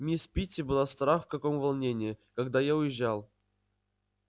мисс питти была страх в каком волнении когда я уезжал